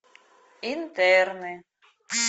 интерны